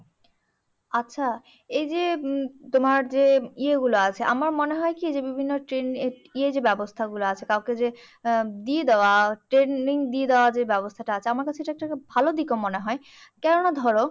আচ্ছা, এইযে উম তোমার যে ইয়েগুলা আছে, আমার মনে হয় কি? যে বিভিন্ন ইয়ে যে ব্যবস্থা গুলা যে আছে? কাউকে যে দিয়ে দেওয়া, training দিয়ে দেওয়ার যে ব্যবস্থাটা আছে, আমার কাছে এটা একটা ভালদিক মনে হয়। কেন না ধরো,